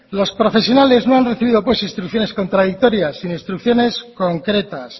los profesionales no han recibido pues instrucciones contradictorias sino instrucciones concretas